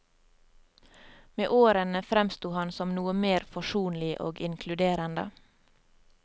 Med årene fremsto han som noe mer forsonlig og inkluderende.